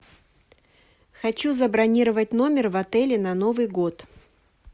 хочу забронировать номер в отеле на новый год